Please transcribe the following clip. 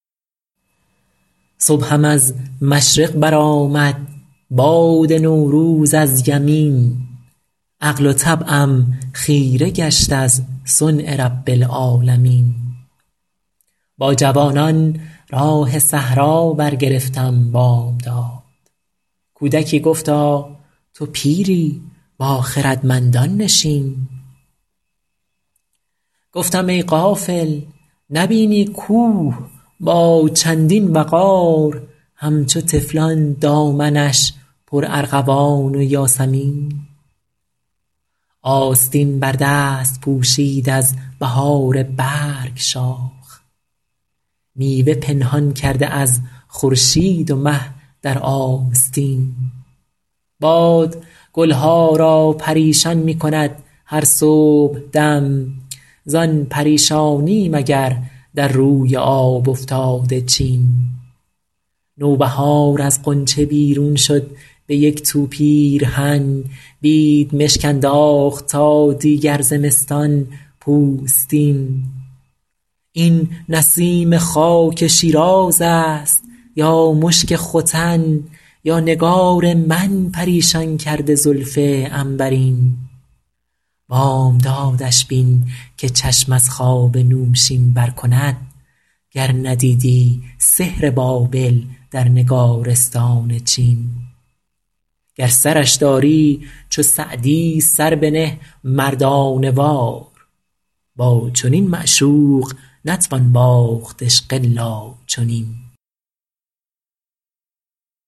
صبحم از مشرق برآمد باد نوروز از یمین عقل و طبعم خیره گشت از صنع رب العالمین با جوانان راه صحرا برگرفتم بامداد کودکی گفتا تو پیری با خردمندان نشین گفتم ای غافل نبینی کوه با چندین وقار همچو طفلان دامنش پرارغوان و یاسمین آستین بر دست پوشید از بهار برگ شاخ میوه پنهان کرده از خورشید و مه در آستین باد گل ها را پریشان می کند هر صبحدم زان پریشانی مگر در روی آب افتاده چین نوبهار از غنچه بیرون شد به یک تو پیرهن بیدمشک انداخت تا دیگر زمستان پوستین این نسیم خاک شیراز است یا مشک ختن یا نگار من پریشان کرده زلف عنبرین بامدادش بین که چشم از خواب نوشین بر کند گر ندیدی سحر بابل در نگارستان چین گر سرش داری چو سعدی سر بنه مردانه وار با چنین معشوق نتوان باخت عشق الا چنین